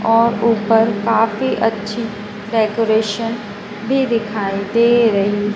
और उपर काफी अच्छी डेकोरेशन भी दिखाई दे रही--